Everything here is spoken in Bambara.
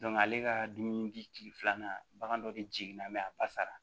ale ka dumuni bi kile filanan bagan dɔ de jigin na a basara